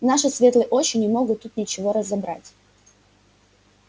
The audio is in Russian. наши светлые очи не могут тут ничего разобрать